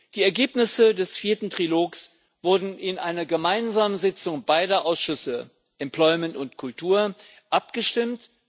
Die Ergebnisse des vierten Trilogs wurden in einer gemeinsamen Sitzung beider Ausschüsse Beschäftigung und Kultur abgestimmt.